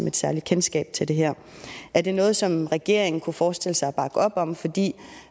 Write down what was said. et særligt kendskab til det her er det noget som regeringen kunne forestille sig at bakke op om fordi